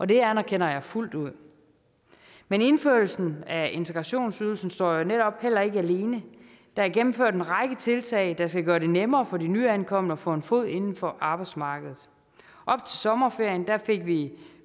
det anerkender jeg fuldt ud men indførelsen af integrationsydelsen står netop ikke alene der er gennemført en række tiltag der skal gøre det nemmere for de nyankomne at få en fod indenfor på arbejdsmarkedet op til sommerferien fik vi